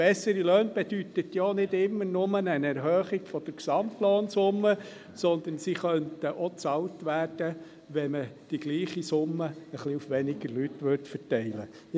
Und bessere Löhne bedeutet ja nicht immer nur eine Erhöhung der Gesamtlohnsumme, sondern sie könnten auch bezahlt werden, wenn man die gleiche Summe auf etwas weniger Leute verteilen würde.